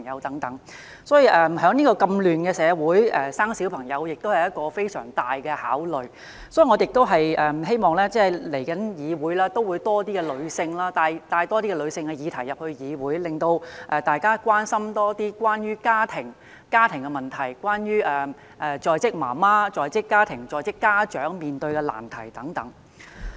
在如此混亂的社會生育小朋友是一個非常重大的決定，我希望來屆議會中會有多些女性的議題獲帶進議會，令大家關心多些關於家庭的問題，例如在職母親、在職家長面對的難題等。